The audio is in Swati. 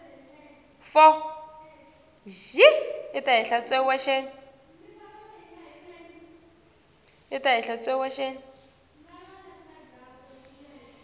sicelo sekudlulisela luphawu